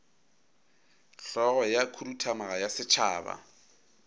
hlogo ya khuduthamaga ya setšhaba